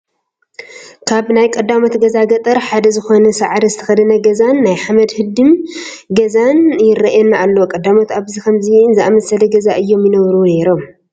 ካብ ናይ ቀዳሞት ገዛ ገጠር ሓደ ዝኾነ ሳዕሪ ዝተኸደነ ገዛን ናይ ሓመድ ህድም ገዛን ይርአየና ኣሎ፡፡ ቀዳሞት ኣብ ከምዚ ዝኣምሰለ ገዛ እዮም ይነብሩ ነይሮም፡፡